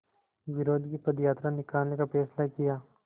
विरोध की पदयात्रा निकालने का फ़ैसला किया